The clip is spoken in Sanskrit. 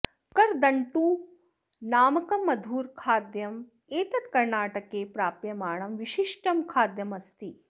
करदण्टु नामकं मधुरखाद्यम् एतत् कर्णाटके प्राप्यमाणं विशिष्टं खाद्यम् अस्ति